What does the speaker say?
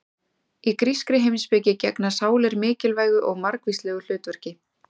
Í grískri heimspeki gegna sálir mikilvægu og margvíslegu hlutverki.